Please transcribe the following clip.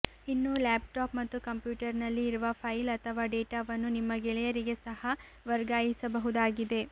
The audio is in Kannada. ಇನ್ನು ಲ್ಯಾಪ್ಟಾಪ್ ಮತ್ತು ಕಂಪ್ಯೂಟರ್ನಲ್ಲಿ ಇರುವ ಫೈಲ್ ಅಥವಾ ಡೇಟಾವನ್ನು ನಿಮ್ಮ ಗೆಳೆಯರಿಗೆ ಸಹ ವರ್ಗಾಯಿಸಬಹುದಾಗಿದೆ